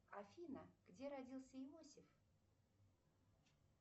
афина где родился иосиф